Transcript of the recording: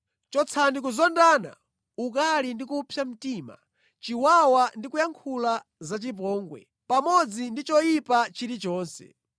Chotsani kuzondana, ukali ndi kupsa mtima, chiwawa ndi kuyankhula zachipongwe, pamodzi ndi choyipa chilichonse.